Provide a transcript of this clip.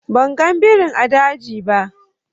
Ban gan birin a daji ba.